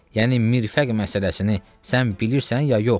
Yəni mirfəq məsələsini sən bilirsən ya yox?